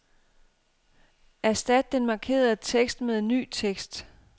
Erstat den markerede tekst med ny tekst.